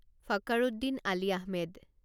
Fakhruddin Ali Ahmed